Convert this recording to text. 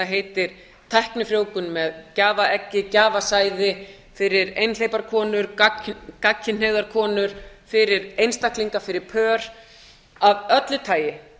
heitir tæknifrjóvgun með gjafaeggi gjafasæði fyrir einhleypar konur gagnkynhneigðar konur fyrir einstaklinga fyrir pör af öllu tagi